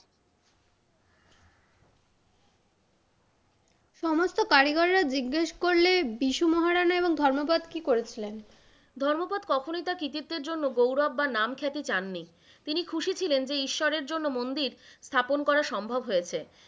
সমস্ত কারিগররা জিজ্ঞেস করলে বিষু মহারাণা এবং ধর্মোপদ কি করেছিলেন? ধর্মোপদ কখনোই তার কৃতিত্বের জন্য গৌরব বা নাম খ্যাতি চাননি, তিনি খুশি ছিলেন যে ঈশ্বরের জন্য মন্দির স্থাপন করা সম্ভব হয়েছে।